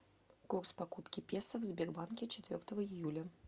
курс покупки песо в сбербанке четвертого июля